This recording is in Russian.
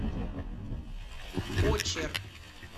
очер